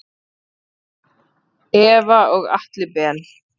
Eva og Atli Ben.